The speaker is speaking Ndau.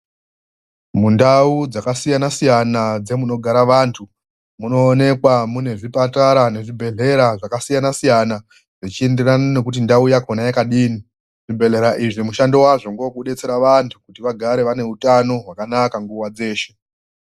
Mundau dzakasiyana siyana dzemunogara vantu munoonekwa munezvipatara ngezvibhedhlera zvakasiyana siyana, zvechiienderana ngekuti ndau yakona yakadini, zvibhedhlera izvi mushando wazvo ndezvekudetsera vanhu kuti vagare vane hutano hwakanaka nguva dzeshe.